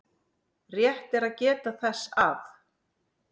Rétt er að geta þess að